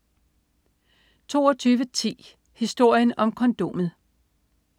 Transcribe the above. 22.10 Historien om kondomet